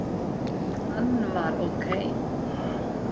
Hann var ókei.